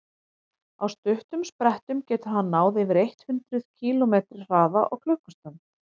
á stuttum sprettum getur hann náð yfir eitt hundruð kílómetri hraða á klukkustund